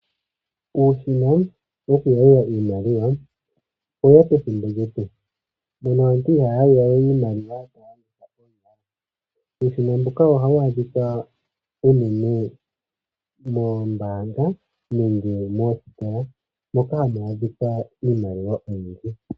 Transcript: Uushina woku yalula iimaliwa oweya pethimbo lyetu mono aantu ihaya yalula we iimaliwa. Uushina mbuka ohawu adhika unene moombanga nenge moositola moka hamu adhika iimaliwa oyindji.